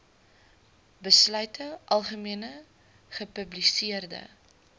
besluite algemene gepubliseerde